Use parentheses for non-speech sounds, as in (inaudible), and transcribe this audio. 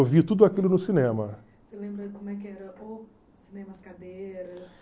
Eu vi tudo aquilo no cinema. (unintelligible)